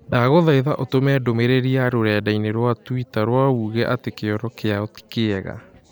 Ndagũthaitha ũtũme ndũmĩrĩri ya rũrenda - ĩni rũa tũita rũa ũuge atĩ kĩoro kĩao ti kĩega.